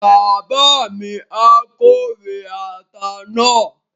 Bàbá mi á kórè ata náà